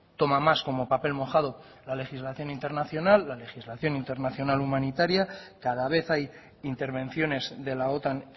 toma más como papel mojado la legislación internacional la legislación internacional humanitaria cada vez hay intervenciones de la otan